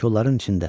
Kolların içində.